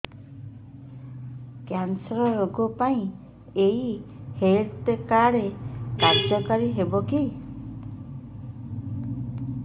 cancer ରୋଗ ପାଇଁ ଏଇ ହେଲ୍ଥ କାର୍ଡ କାର୍ଯ୍ୟକାରି ହେବ କି